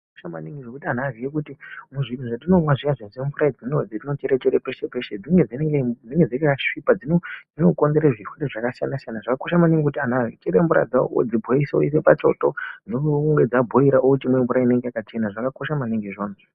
Zvakakosha maningi zvekuti antu aziye kuti muzvinhu zvatinomwa zviyazvi semvura dzatinochere peshe peshe dzinenge dzakasvipa. Dzinokonzera zvirwere zvakasiyana siyana. Zvakakosha maningi kuti antu achichera mvura dzawo odzibhoilisa oisa pachoto. Dzichinge dzabhoila ochimwa mvura inenge yakachena. Zvakakosha maningi izvozvo.